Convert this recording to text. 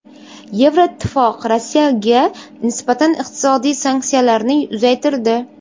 Yevroittifoq Rossiyaga nisbatan iqtisodiy sanksiyalarni uzaytirdi.